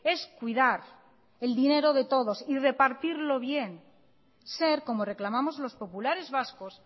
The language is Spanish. es cuidar el dinero de todos y repartirlo bien ser como reclamamos los populares vascos